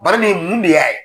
Bari nin mun de y'a ye?